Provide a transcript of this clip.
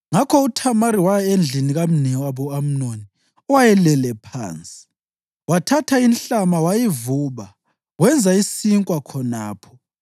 Ngakho uThamari waya endlini kamnewabo u-Amnoni owayelele phansi. Wathatha inhlama wayivuba, wenza isinkwa khonapho.